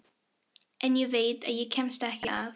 En ég veit að ég kemst ekki að.